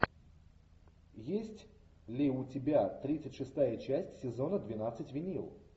есть ли у тебя тридцать шестая часть сезона двенадцать винил